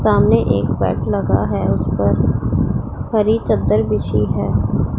सामने एक बेड लगा है उस पर हरी चद्दर बिछी है।